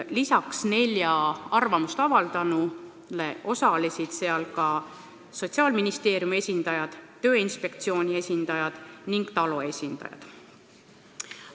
Peale nelja arvamust avaldanu osalesid seal Sotsiaalministeeriumi, Tööinspektsiooni ja TALO esindajad.